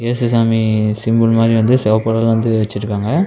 இயேசு சாமி சிம்பிள் மாரி வந்து செவப்பு கலர்ல வந்து வச்சுருக்காங்க.